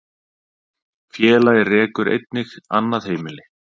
Félagið rekur einnig annað heimili